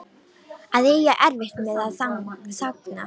Að eiga erfitt með að þagna